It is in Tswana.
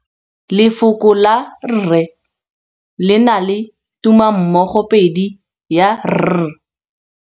Lefoko la rre le na le tumammogôpedi ya, r.